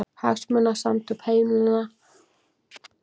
Hagsmunasamtök heimilanna fá fjárstuðning